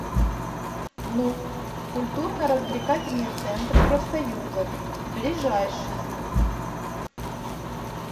нук культурно развлекательный центр профсоюзов ближайший